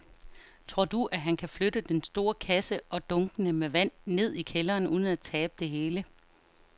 Tror du, at han kan flytte den store kasse og dunkene med vand ned i kælderen uden at tabe det hele?